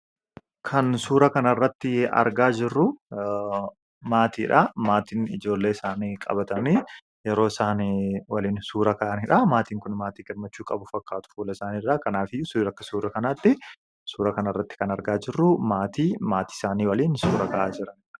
Kan suura kana irratti argaa jirru maatiidha. Maatiin ijoollee isaanii qabatanii yeroo isaan waliin suura ka'anidha. Maatiin Kun maatii gammachuu qabu fakkaatu fuula isaanii irraa. Kanaafuu akka suura kanaatti Suura kana irratti kan argaa jirru, maatii maatii isaanii wajjin suura ka'aa jiranidha.